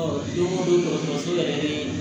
don o don dɔgɔtɔrɔso yɛrɛ ni